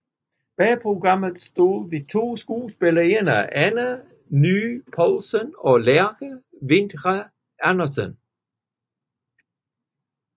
Bag programmet stod de to skuespillerinder Anna Neye Poulsen og Lærke Winther Andersen